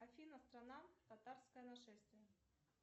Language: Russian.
афина страна татарское нашествие